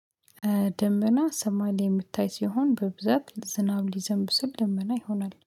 ደመና ሰማይ የሚታይ ሲሆን በብዛት ዝናብ ሊዘንብ ስል ደመና ይሆናል